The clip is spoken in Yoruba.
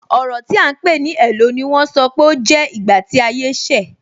Ọrọ ti a ń pè ní "hello" ni wọ́n sọ pé ó jẹ́ ìgbà tí ayé ṣe.